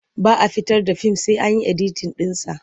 Ba a fitar da fim sai an yi editin ɗinsa.